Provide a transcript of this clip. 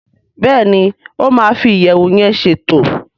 Béèni o ma fi iyẹwu yén ṣètò.